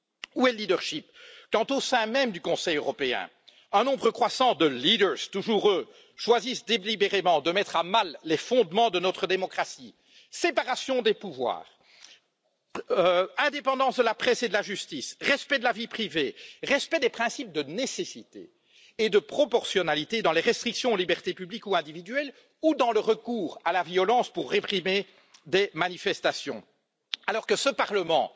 Où est le leadership quand au sein même du Conseil européen, un nombre croissant de leaders toujours eux choisissent délibérément de mettre à mal les fondements de notre démocratie séparation des pouvoirs, indépendance de la presse et de la justice, respect de la vie privée, respect des principes de nécessité et de proportionnalité dans les restrictions aux libertés publiques ou individuelles ou dans le recours à la violence pour réprimer des manifestations? Alors que ce Parlement